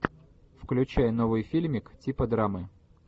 включай новый фильмик типа драмы